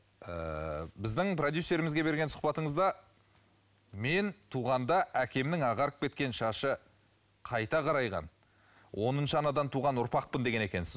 ыыы біздің продюсерімізге берген сұхбатыңызда мен туғанда әкемнің ағарып кеткен шашы қайта қарайған оныншы анадан туған ұрпақпын деген екенсіз